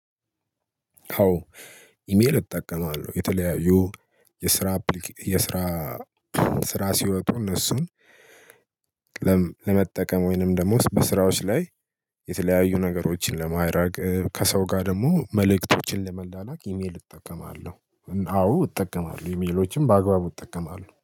አዎ ኢሜል እጠቀማለሁ። የተለያዩ የስራ የስራ ስራ ሲወጡ እነሱን ለመጠቀም ወይንም ደግሞ በስራዎች ላይ የተለያዩ ነገሮችን ለማደርግ ከሰው ጋር ደግሞ መልእክቶችን ለመላላክ ኢሜል እጠቀማለሁ። አዎ እጠቀማለሁ ኢሜሎችም በአግባቡ እጠቀማለሁ